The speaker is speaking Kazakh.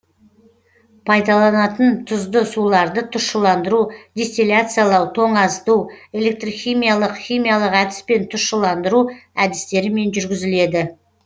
пайдаланылатын тұзды суларды тұщыландыру дистилляциялау тоңазыту электрхимиялық химиялық әдіспен тұщыландыру әдістерімен жүргізіледі